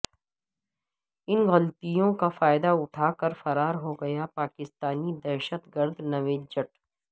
ان غلطیوں کا فائدہ اٹھاکر فرار ہوگیا پاکستانی دہشت گرد نوید جٹ